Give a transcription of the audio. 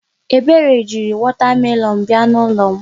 Ebere jiri wọta melọọnụ bịa n'ụlọ m.